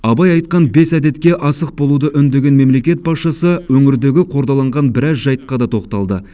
абай айтқан бес әдетке асық болуды үндеген мемлекет басшысы өңірдегі қордаланған біраз жайтқа да тоқталды